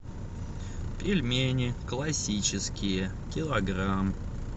пельмени классические килограмм